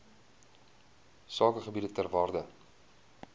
sakegebiede ter waarde